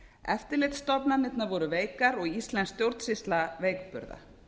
eftirlitsstofnanirnar voru veikar og íslensk stjórnsýsla veikburða